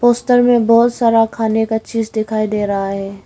Poster में बहुत सारा खाने का चीज़ दिखाई दे रहा है।